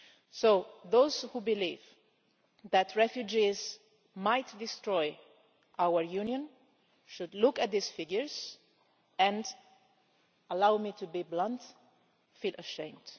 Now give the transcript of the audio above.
So those who believe that refugees might destroy our Union should look at these figures and allow me to be blunt feel ashamed.